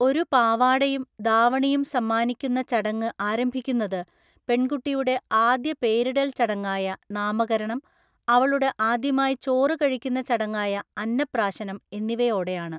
ഒരു പാവാടയും ദാവണിയും സമ്മാനിക്കുന്ന ചടങ്ങ് ആരംഭിക്കുന്നത് പെൺകുട്ടിയുടെ ആദ്യ പേരിടല്‍ ചടങ്ങായ നാമകരണം, അവളുടെ ആദ്യമായി ചോറ് കഴിക്കുന്ന ചടങ്ങായ അന്നപ്രാശനം എന്നിവയോടെയാണ്.